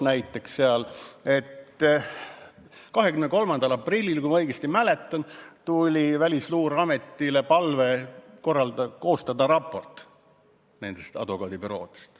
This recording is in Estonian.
Näiteks 23. aprillil, kui ma õigesti mäletan, tuli Välisluureametile palve koostada advokaadibüroode kohta raport.